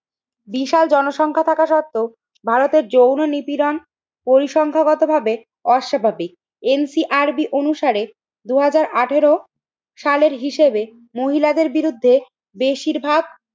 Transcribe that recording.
বিশাল জনসংখ্যা থাকা সত্বেও ভারতের যৌন নিপীড়ন পরিসংখ্যাগত ভাবে অর্শপাতি। NCRB অনুসারে দুই হাজার আঠেরো সালের হিসেবে মহিলাদের বিরুদ্ধে বেশিরভাগ